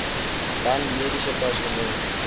dan mediese personeel